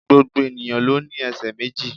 Gbogbo ènìyàn ló ní esè méjì